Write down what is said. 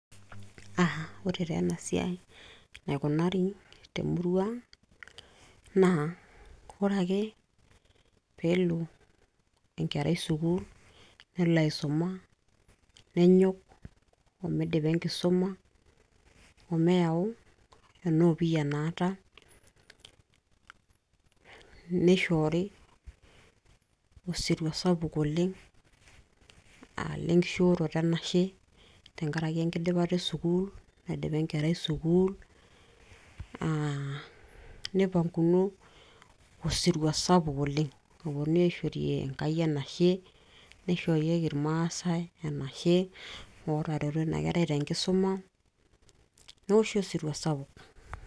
aa ore taa ena siai enaikunari temurua ang naa ore ake peelo enkerai sukuul nelo aisuma nenyok omidipa enkisuma omeyau ena opiyia naata nishoori osirua sapuk oleng lenkishooroto enashe tenkaraki ekidipata e sukuul naidipa enkerai sukuul aa nipanguni osirua sapuk oleng oponunui aishorie Enkai enashe nishorieki irmaasay enashe ootareto ina kerai tenkisuma newoshi osirua sapuk.